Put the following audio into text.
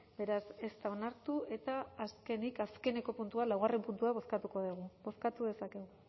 beraz ez da onartu eta azkenik azkeneko puntua laugarren puntua bozkatuko dugu bozkatu dezakegu